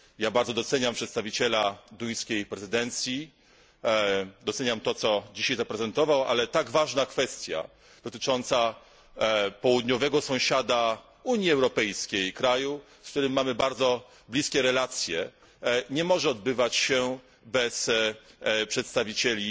Bardzo doceniam przedstawiciela duńskiej prezydencji, doceniam to, co dzisiaj zaprezentował, ale tak ważna kwestia dotycząca południowego sąsiada Unii Europejskiej, kraju, z którym mamy bardzo bliskie relacje, nie może odbywać się bez przedstawiciela